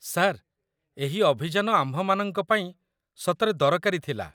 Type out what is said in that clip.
sir, ଏହି ଅଭିଯାନ ଆମ୍ଭମାନଙ୍କ ପାଇଁ ସତରେ ଦରକାରୀ ଥିଲା